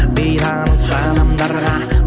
бейтаныс адамдарға